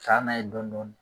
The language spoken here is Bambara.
Ka taa n'a ye dɔɔnin dɔɔnin.